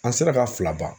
An sera ka fila ban